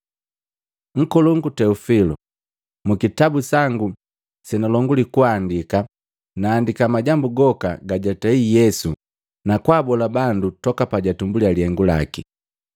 Nkolongu Teofili. Mu kitabu sangu senalonguli kuandika, naandiki majambu goka gajatei Yesu na kwaabola bandu toka pajatumbuliya lihengu laki,